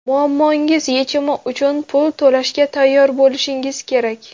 Muammongiz yechimi uchun pul to‘lashga tayyor bo‘lishingiz kerak.